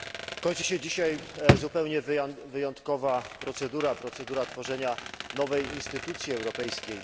Kończy się dzisiaj zupełnie wyjątkowa procedura, procedura tworzenia nowej instytucji europejskiej.